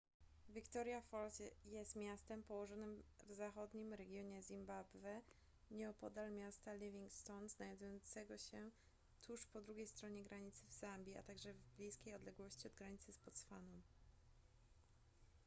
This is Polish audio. victoria falls jest miastem położonym w zachodnim regionie zimbabwe nieopodal miasta livingstone znajdującego się tuż po drugiej stronie granicy w zambii a także w bliskiej odległości od granicy z botswaną